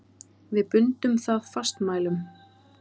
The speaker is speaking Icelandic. Við bundum það fastmælum.